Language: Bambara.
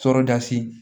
Toroda sen